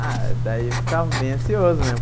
Ah, daí eu estava bem ansioso, né?